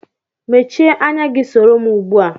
Mèchié ányá gi soro m ugbua